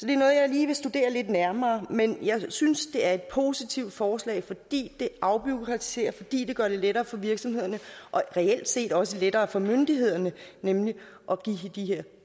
lige vil studere lidt nærmere men jeg synes det er et positivt forslag fordi det afbureaukratiserer og fordi det gør det lettere for virksomhederne og reelt set også lettere for myndighederne at give de her